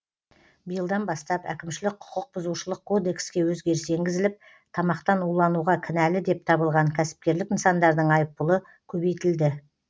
биылдан бастап әкімшілік құқық бұзушылық кодекске өзгеріс енгізіліп тамақтан улануға кінәлі деп табылған кәсіпкерлік нысандардың айыппұлы көбейтілді